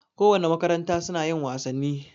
Ko wane makaranta suna yin wasanni